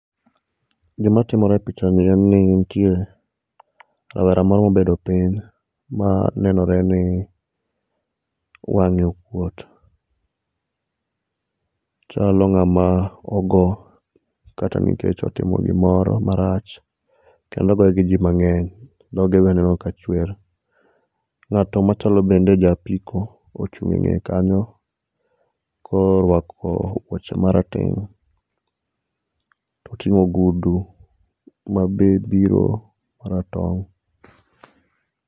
Gima timore e pichani en ni nitiere rawera moro mobedo piny ma nenore ni wang'e okuot. Ochalo ng'ama ogo kata nikech otimo gimoro marach. Kendo ogoye gi ji mang'eny. Dhoge be aneno ka chwer. Ng'ato machalo bende ja apiko ochung' eng'eye kanyo korwako wuoche marateng' to oting'o ogudu ma be biro maratong'.